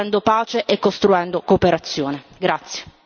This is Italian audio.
La lotta al terrorismo si fa costruendo pace e costruendo cooperazione.